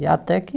E até que